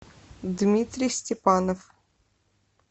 дмитрий степанов